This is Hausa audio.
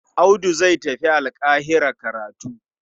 Audu zai tafi Alƙahira karatu.